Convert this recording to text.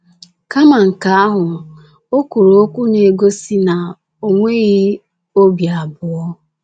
Kama nke ahụ, ọ kwuru okwu na-egosi na o nweghị obi abụọ.